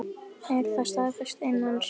Er það staðfest innan sviga?